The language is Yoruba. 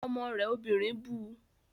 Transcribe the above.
Ọmọ rẹ obìnrin bu